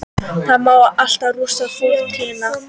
Það má alltaf rústa fortíðina-